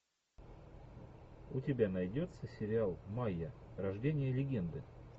у тебя найдется сериал майя рождение легенды